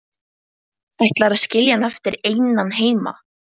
Ætlarðu að skilja hann eftir einan heima?